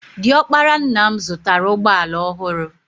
Di ọkpara nna m zụtara ụgbọala ọhụrụ.